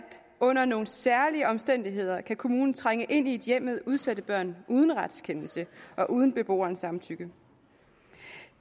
under nogle særlige omstændigheder kan kommunen trænge ind i et hjem med udsatte børn uden retskendelse og uden beboerens samtykke